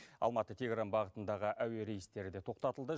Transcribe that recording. алматы тегеран бағытындағы әуе рейстері де тоқтатылды